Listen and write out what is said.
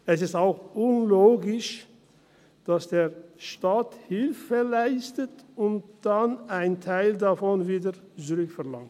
Es ist auch unlogisch, dass der Staat Hilfe leistet und dann einen Teil davon wieder zurückverlangt.